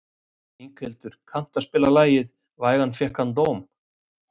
Inghildur, kanntu að spila lagið „Vægan fékk hann dóm“?